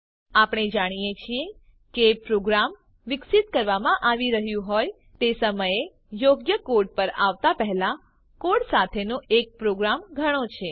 આપણે જાણીએ છીએ કે પ્રોગ્રામ વિકસિત કરવામાં આવી રહ્યું હોય તે સમયે યોગ્ય કોડ પર આવતા પહેલા કોડ સાથેનો એક પ્રયોગ ઘણો છે